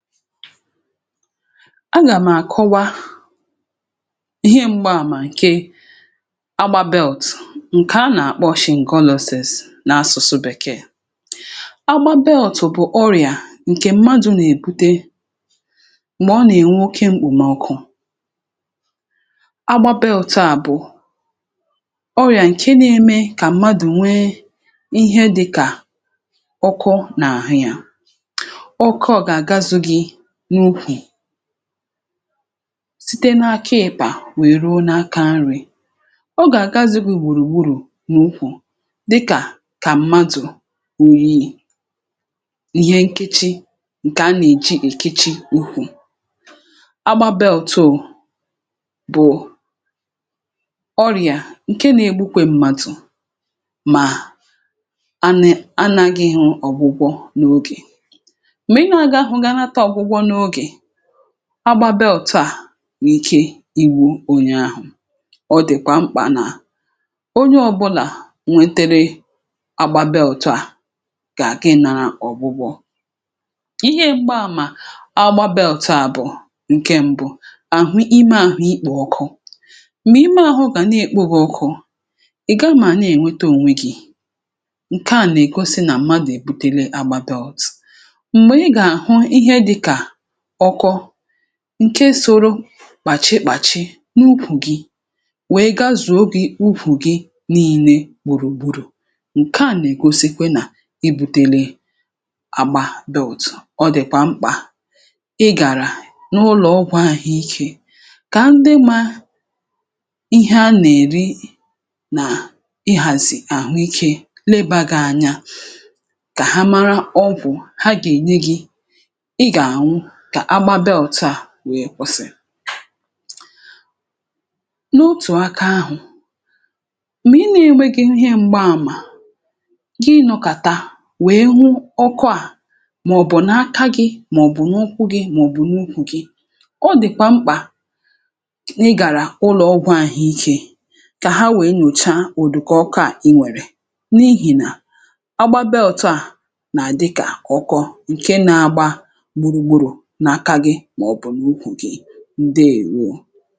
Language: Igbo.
àgà m̀ àkọwa ihe m̀gbaàmà ǹkè agbàbelt ǹkè a nà-àkpọshị̀ ngọlosis n’asụ̀sụ bèkee. agbàbelt bụ̀ ọrịà ǹkè mmadụ̇ nà-èbute m̀gbè ọ nà-ènwoke mkpùmọkụ; agbàbelt à bụ̀ ọrịà ǹke nȧ-eme kà mmadụ̀ nwee ihe dịkà ọkụ n’àhụ yȧ site n’akaị̇pà wèe ruo n’aka nri̇. Ọ gà-àga zigu ìgbòrògburu̇ n’ukwù dịkà kà mmadụ̀ òyìi ihe, nkechi ǹkè a nà-èji èkichi ùkwù agbàbelt bụ̀ ọrịà ǹkè nȧ-egbukwe mmadụ̀ mà a nȧghị ịhụ ọ̀gbụgwọ n’ogè. agbàbelt à nwè ike iwu̇ onye ahụ̀, ọ dị̀kwà mkpà nà onye ọ̇bụ̇là nwetere agbàbelt à gà-àgị nȧrȧ ọ̀gbụgbọ ihe; m̀gbaàmà agbàbelt à bụ̀ ǹke ṁbụ̇ àhụ ime àhụ ikpò ọkụ. M̀gbè ime àhụ gà na-èkpọ gị ọkụ̇, um ị̀ gamà à na-ènwete ònwe gị̇ ǹke à nà-ègosi nà mmadụ̀ èbutele agbàbelt ǹke soro bàchị̀ bàchị n’ukwù gị̇ wèe gazùo ogè ukwù gị̇ niile gbùrù gburù, ǹke à nà-ègosikwe nà ibu̇tėlė àgbabelodò. Ọ dị̀kwà mkpà ị gàrà n’ụlọ̀ ọgwụ̇ ahụ̀ ike kà ndị mà ihe a nà-èri nà ị hàzị̀ àhụikė lebà gị anya kà ha mara ọgwụ̀ ha gènyè gị; à gbabịa ọ̀tụ à nwee ọsị̀l n’otù aka àhụ m̀gbè ị nėnwe gị ihe m̀gbaàmà gị nọ̀kàta wèe hụ ọkụ à màọ̀bụ̀ n’aka gị̇, um màọ̀bụ̀ n’ụkwụ gị̇, màọ̀bụ̀ n’ukwù gị̇ ọ dị̀kwà mkpà ị gàrà ụlọ̀ ọgwụ̇ àhụikė kà ha wèe nyòcha ụ̀dù kà ọkụ à i nwèrè n’ihì nà àgbabị.